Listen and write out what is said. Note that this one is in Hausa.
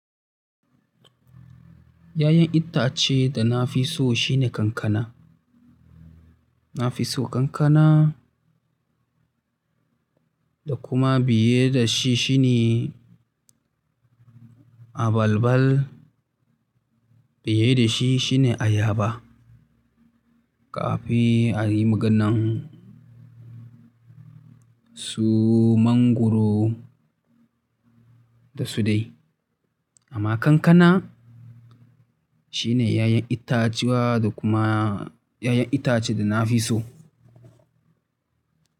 Ya'yan itace da na fi so shine kankana. Na fi so kankana da kuma biye da shi shine abalbal, biye da shi shine ayaba, kafin a yi maganan su mangwaro da su dai. Amma kankana shine yayan itacuwa da kuma yayan itace da na fi so.